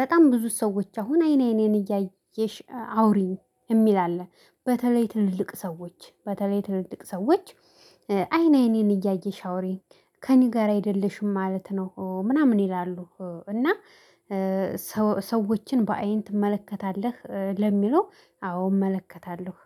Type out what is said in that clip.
በጣም ብዙ ሰዎች አሁን አይን አይኔን እያየሽ አውሪኝ የሚል ሰው አለ። በተለይ ትልልቅ ሰዎች በተለይ ትልልቅ ሰዎች አይን አይኔን እያየሽ አውሬ ከእኔ ጋር አይደለሽም ማለት ነው ምናምን ይላሉ። እና ሰዎችን በአይን ትመለከታለህ ለሚለው አዎ እመለከታለሁ